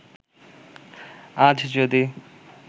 আজ যদি